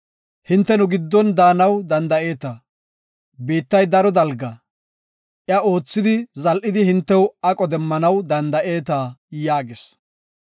Hinte nu giddon daanaw danda7eeta. Biittay daro dalga, iya oothidi zal7idi hintew aqo demmanaw danda7eeta” yaagis.